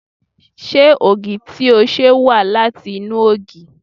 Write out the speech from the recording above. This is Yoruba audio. Ṣé ògì tí o ṣe wá láti inú ògì?